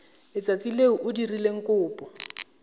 letsatsi le o dirileng kopo